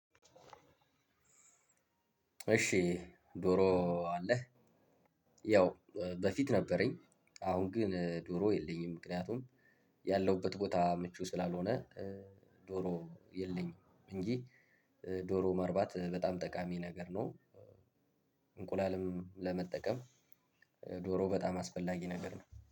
እሺ ዶሮ አለህ? ያው በፊት ነበረኝ። አሁን ግን ዶሮ የለኝም ምክንያቱም ያለሁበት ቦታ ምቹ ስላልሆነ ዶሮ የለኝም። እንጂ ዶሮ ማርባት በጣም ጠቃሚ ነገር ነው። እንቁላልም ለመጠቀም ዶሮ በጣም አስፈላጊ ነገር ነው